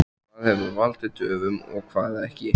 Hvað hefur valdið töfum og hvað ekki?